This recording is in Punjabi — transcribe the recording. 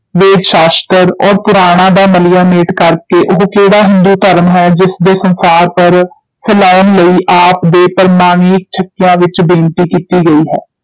ਵੇਦ ਸ਼ਾਸਤ੍ਰ ਔਰ ਪੁਰਾਣਾਂ ਦਾ ਮਲੀਆ ਮੇਟ ਕਰ ਕੇ ਉਹ ਕਿਹੜਾ ਹਿੰਦੂ ਧਰਮ ਹੈ, ਜਿਸ ਦੇ ਸੰਸਾਰ ਪਰ ਫੈਲਾਉਣ ਲਈ ਆਪ ਦੇ ਪ੍ਰਮਾਣੀਕ ਛੱਕਿਆਂ ਵਿਚ ਬੇਨਤੀ ਕੀਤੀ ਗਈ ਹੈ।